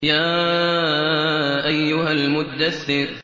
يَا أَيُّهَا الْمُدَّثِّرُ